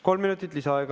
Kolm minutit lisaaega.